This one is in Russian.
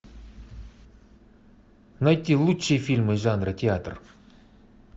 найти лучшие фильмы жанра театр